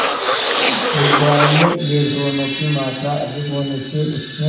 गुब्बारे में इलेक्ट्रॉनों की मात्रा अधिक होने से उसमें